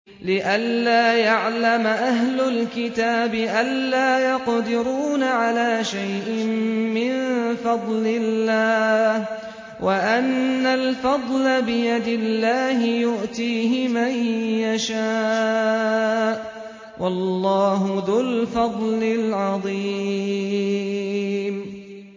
لِّئَلَّا يَعْلَمَ أَهْلُ الْكِتَابِ أَلَّا يَقْدِرُونَ عَلَىٰ شَيْءٍ مِّن فَضْلِ اللَّهِ ۙ وَأَنَّ الْفَضْلَ بِيَدِ اللَّهِ يُؤْتِيهِ مَن يَشَاءُ ۚ وَاللَّهُ ذُو الْفَضْلِ الْعَظِيمِ